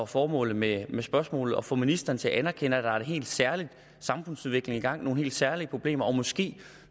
formålet med spørgsmålet at få ministeren til at anerkende at der er en helt særlig samfundsudvikling i gang nogle helt særlige problemer og måske